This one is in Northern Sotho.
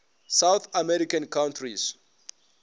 south american countries